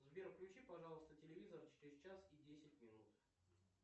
сбер включи пожалуйста телевизор через час и десять минут